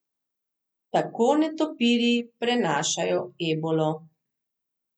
Tako netopirji prenašajo ebolo.